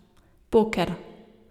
Poker.